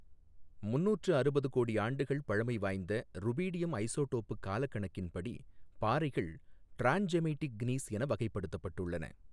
முநூற்று அறுபது கோடி ஆண்டுகள் பழமை வாய்ந்த, ருபீடியம் ஐசோடோப்புக் காலக்கணிப்பின்படி, பாறைகள் டிராண்ட்ஜெமெய்டிக் க்னீஸ் என வகைப்படுத்தப்பட்டுள்ளன.